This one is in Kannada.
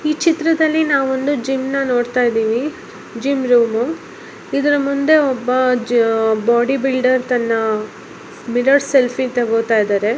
ಈ ಚಿತ್ರದಲ್ಲಿ ನಾವು ಒಂದು ಜಿಮ್ ಅನ್ನು ನೋಡತ್ತಾ ಇದ್ದಿವಿ ಜಿಮ್ ರೂಮ್ ಇದರ ಮುಂದೆ ಒಬ್ಬ ಬಾಡಿ ಬಿಲ್ಡರ್ ತನ್ನ ಮಿರರ್ ಸೆಲ್ಫಿ ತೆಗೋತ ಇದ್ದಾರೆ.